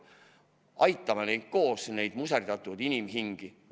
Aitame neid lapsi koos, neid muserdatud inimhingi!